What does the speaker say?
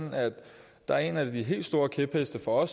der også er en af de helt store kæpheste for